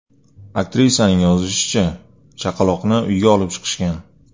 Aktrisaning yozishicha, chaqaloqni uyga olib chiqishgan.